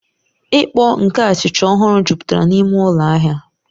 Ìkpó nke achịcha ọhụrụ jupụtara n'ime ụlọ ahịa